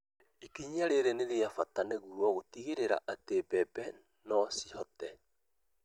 Ikinya rĩrĩ nĩ rĩa bata nĩguo gũtigĩrĩra atĩ mbembe no cihote